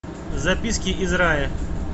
записки из рая